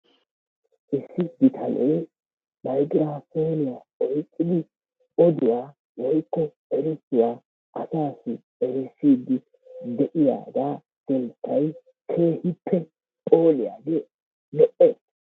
issi bitanee maygiraafooniya oyqqidi oduwa woykko erissuwa asaassi erissidi de'iyaga keettay keehippe phooliyagee lo'ees.